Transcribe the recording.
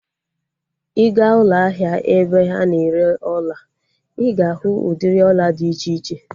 Ị gaa ụlọ ahịa ebe a na-ere ọla, ị ga-ahụ udịri ọla dị iche iche